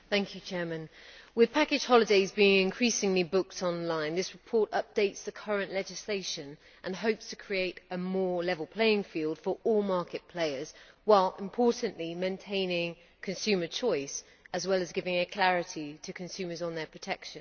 Mr President, with package holidays being increasingly booked online, this report updates the current legislation and hopes to create a more level playing field for all market players while, importantly, maintaining consumer choice as well as giving clarity to consumers on their protection.